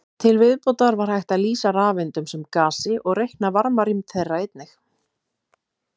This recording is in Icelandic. Til viðbótar var hægt að lýsa rafeindunum sem gasi og reikna varmarýmd þeirra einnig.